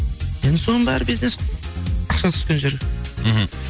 енді соның бәрі бизнес қой ақша түскен жер мхм